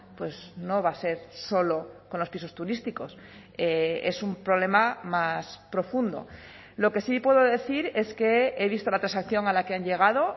pues no va a ser solo con los pisos turísticos es un problema más profundo lo que sí puedo decir es que he visto la transacción a la que han llegado